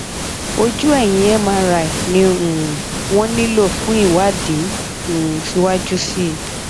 ojú ẹyìn mri ni um wọn nílò fún ìwádìí um síwájú sí i